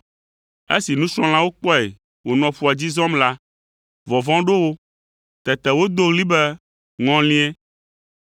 Esi nusrɔ̃lawo kpɔe wònɔ ƒua dzi zɔm la, vɔvɔ̃ ɖo wo. Tete wodo ɣli be, “Ŋɔlie.”